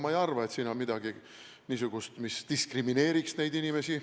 Ma ei arva, et siin on midagi niisugust, mis diskrimineeriks neid inimesi.